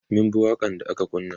mun bi waƙan da aka kunna